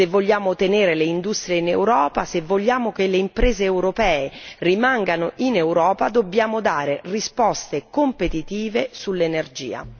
Se vogliamo tenere le industrie in Europa, se vogliamo che le imprese europee rimangano in Europa, dobbiamo dare risposte competitive sull'energia.